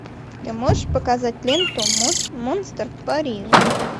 ты можешь показать ленту монстр в париже